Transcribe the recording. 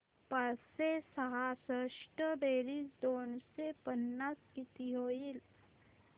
पाचशे सहासष्ट बेरीज दोनशे पन्नास किती होईल